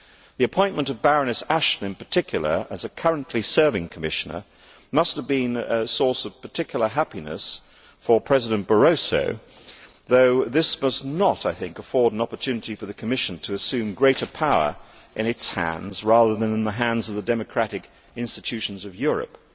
The appointment of Baroness Ashton, in particular, as a currently serving Commissioner must have been a source of particular happiness for President Barroso, though this must not afford an opportunity for the Commission to assume greater power in its hands rather than in the hands of the democratic institutions of Europe.